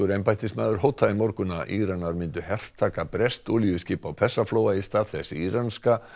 embættismaður hótaði í morgun að Íranar myndu hertaka breskt olíuskip á Persaflóa í stað þess íranska